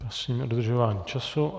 Prosím o dodržování času.